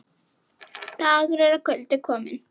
Dagur er að kvöldi kominn.